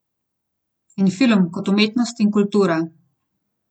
In film kot umetnost in kultura.